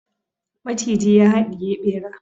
maciji ya hadiye bera